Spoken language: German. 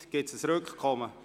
Wünschen Sie ein Rückkommen?